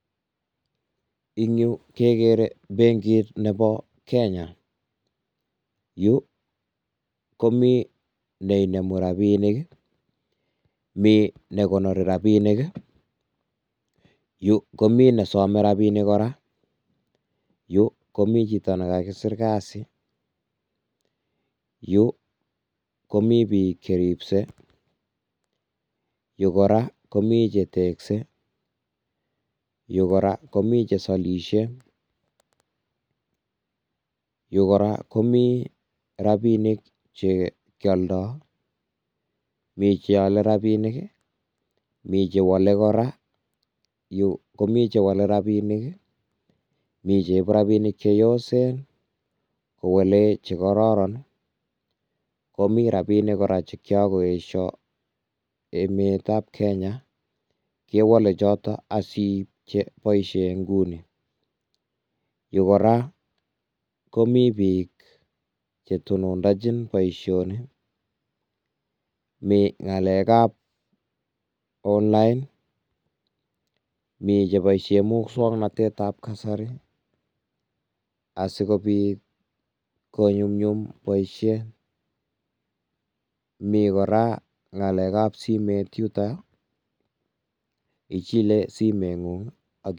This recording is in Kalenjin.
Eng yu kegere benkit nebo Kenya, yu komi ne inemu robinik, mi ne konori robinik, yu komi ne some robinik kora. yu komi chito ne kakisir kazi, yu komi biik che ribse, yu kora komi che tekse, yu kora komi che salisie, yu kora komi rabinik che kioldo, mi che ale rabinik me che wole kora, yu komi che wole rabinik mi cheibu robinik che yosen kowale che kororon. komi robinik kora che kiakoesio emetab Kenya kewole choto asiib che boisie nguni. Yu kora komi biik che tonondachin boisioni mi ng'alekab online, mi cheboisien muswaknatetab kasari, asikobiit konyumnyum boisie, mi kora ng'alekab simet yuto ichile simeng'ung.